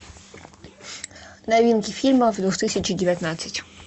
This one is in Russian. новинки фильмов две тысячи девятнадцать